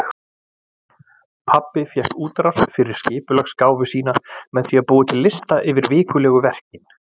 Pabbi fékk útrás fyrir skipulagsgáfu sína með því að búa til lista yfir vikulegu verkin.